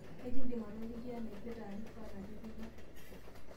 ekindim atoliki inaipirta arifa natipika